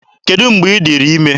Kedụ mgbe ị dịrị ime?